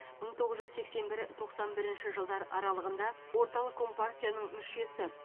мың тоғыз жүз сексен бір тоқсан бірінші жылдар аралығында орталық компартияның мүшесі